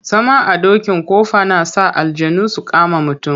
Zama a dokin ƙofa na sa aljannu su kama mutum.